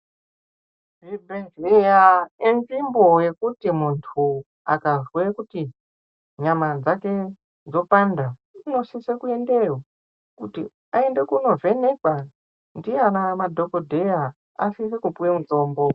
Zvibhedhleya nzvimbo yekuti muntu akazwe kuti nyama dzake dzopanda unosise kuendeyo kuti aende kundovhenekwa ndiana dhogodheya asise kupuwe mutombo.